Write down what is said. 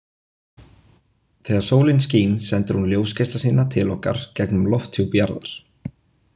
Þegar sólin skín sendir hún ljósgeisla sína til okkar gegnum lofthjúp jarðar.